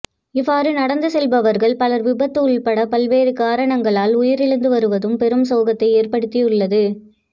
இவ்வாறு நடந்து செல்பவர்கள் பலர் விபத்து உள்பட பல்வேறு காரணங்களால் உயிரிழந்து வருவதும் பெரும் சோகத்தை ஏற்படுத்தி உள்ளது